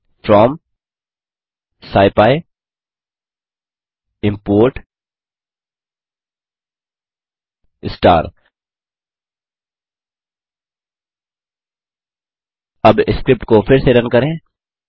from scipy import star अब script को फिर से रन करें